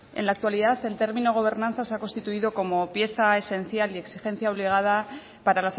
en la actualidad el término gobernanza se ha constituido como pieza esencial y exigencia obligada para